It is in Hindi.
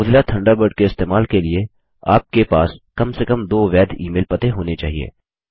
मोज़िला थंडरबर्ड के इस्तेमाल के लिए आपके पास कम से कम दो वैध ईमेल पते होने चाहिए